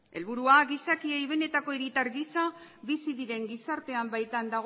helburua gizakiei benetako hiritar gisa bizi diren gizartean baitan